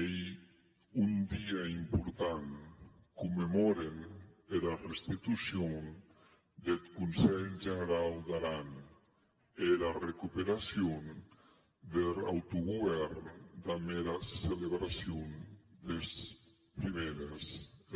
ei un dia important commemòren era restitucion deth conselh generau d’aran e era recuperacion der autogòvern damb era celebracion des prumères